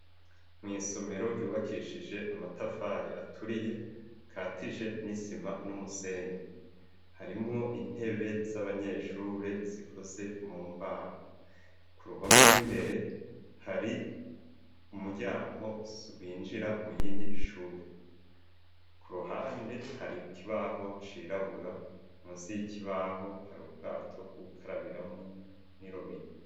Mw'isomero ryubakishije amatafari aturiye katije n'isima n'umusenyi harimwo intebe z'abanyeshure zikoze mu mbaho ku ruhome rw'imbere hari umuryango winjira mu yindi shure ku ruhande hari kibaho cirabura mu nsi 'ikibaho hari ubwato bwu gukarabiramu n'irobine.